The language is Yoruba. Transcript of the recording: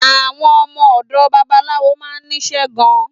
Àwọn ọmọ òdò babaláwo ma nísé gan